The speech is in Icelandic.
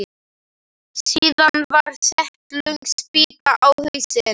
Síðan var sett löng spýta á hausinn.